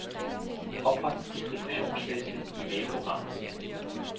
Opret distributionsliste i mailprogrammet.